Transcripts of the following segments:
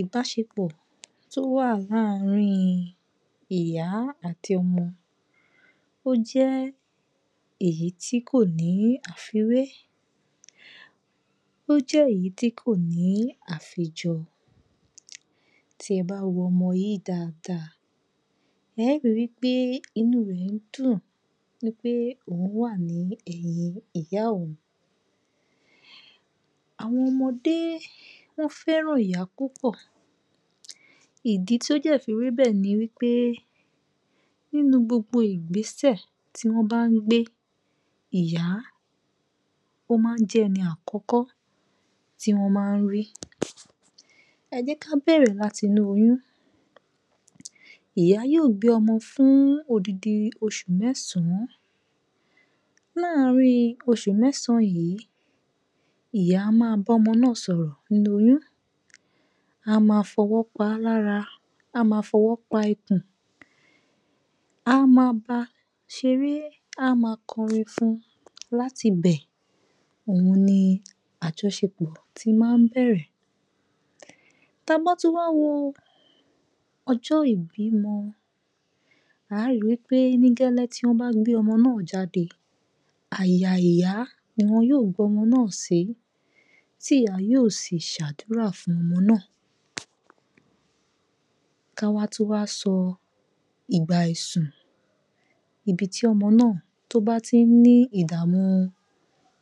Ìbáṣepọ̀ tó wà láàárín ìyá àti ọmọ, ó jẹ́ èyí tí kò ní àfiwé. Ó jẹ́ ìyí tí kò ní àfijọ. Tí ẹ bá wo ọmọ yìí dáadáa, ẹ́ ri wí pé inú rẹ̀ ń dùn wí pé òun wà ní ẹ̀yin ìyá òun. Àwọn ọmọdé wọ́n fẹ́ràn ìyá púpọ̀. Ìdí tó dẹ̀ fi rí bẹ́ẹ̀ ni wí pé nínú gbogbo Ìgbésẹ̀ tí wọ́n bá ń gbé, ìyá, ó máa ń jẹ́ ẹni àkọ́kọ́ tí wọ́n máa ń rí. Ẹ jẹ́ ká bẹ̀rẹ̀ láti inú oyún, ìyá yóò gbé ọmọ fún odindin oṣù mẹ́sàn-án láàárín oṣù mẹ́sàn-án yìí, ìyá a máa bọ́mọ náà sọ̀rọ̀ nínú oyún, a máa fọwọ́ paá lára, a ma fọwọ́ pa ikùn. Á ma ba ṣeré, á ma kọrin fun láti bẹ̀, ohun ni àjọṣepọ̀ ṣe máa ń bẹ̀rẹ̀. Ta bá tún wá wo ọjọ́ ìbímọ, a ri wí pé ní gẹ́lẹ́ tí wọ́n bá gbé ọmọ náà jáde, àyà ìyá ni wọn yóò gbé ọmọ náà sí, tí ìyá yóò sì ṣàdúrà fún ọmọ náà. Káwá tún wá sọ ìgbà àìsùn níbi tí ọmọ náà, tó bá tí ń ní ìdààmú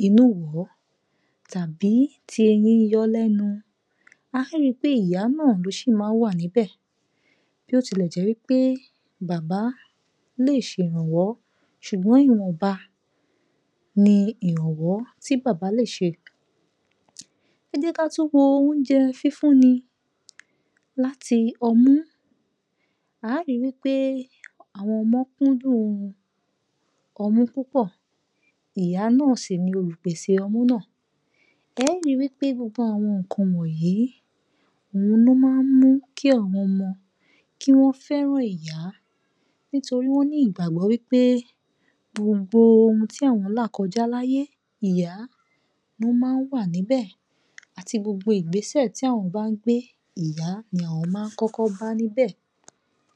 inúwọ̀ọ́ tàbí ti eyín ń yọọ́ lẹ́nu, a rí pé ìyá náà ló ṣì máa ń wà níbẹ̀. Bí ó tilẹ̀ jẹ́ wí pé bàbá lè ṣèrànwọ́ ṣùgbọ́n ìwọ̀nba ni ìrànwọ́ tí bàbá lè ṣe. Ẹ jẹ́ ká tún wo oúnjẹ fífúnni láti ọmú, á ri wí pé àwọn ọmọ kúndùn ọmú púpọ̀, ìyá náà sì ni olùpèsè ọmú náà, ẹ rí wí pé gbogbo àwọn nǹkan wọnyìí, òhun ló máa ń mú kí àwọn ọmọ, kí wọ́n fẹ́ràn ìyá nítorí wọ́n ní ìgbàgbọ́ wí pé gbogbo ohun tí àwọn là kọjá láyé, ìyá ló máa ń wà níbẹ̀ àti gbogbo Ìgbésẹ̀ tí àwọn bá ń gbé ìyá ni àwọn máa ń kọ́kọ́ bá níbẹ̀.